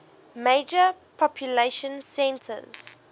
major population centers